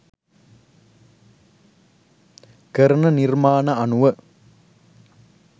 කරන නිර්මාණ අනුව.